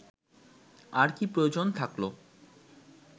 আর কী প্রয়োজন থাকলো